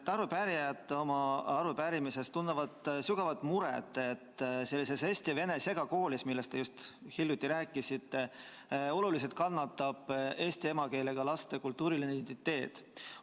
Arupärijad tunnevad oma arupärimises sügavat muret, et sellises eesti-vene segakoolis, millest te enne just rääkisite, kannatab oluliselt eesti emakeelega laste kultuuriline identiteet.